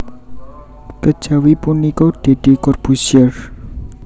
Kejawi punika Deddy Corbuzier